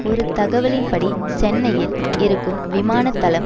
ஒரு தகவலின் படி சென்னையில் இருக்கும் விமான தளம்